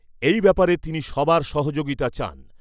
এই ব্যাপারে তিনি সবার সহযোগিতা চান।